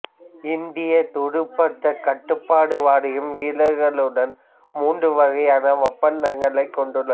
இந்தியத் துடுப்பாட்டக் கட்டுப்பாடு வாரியம் வீரர்களுடன் மூன்று வகையான ஒப்பந்தங்களை கொன்டுள்ளது